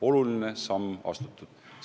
Oluline samm on astutud.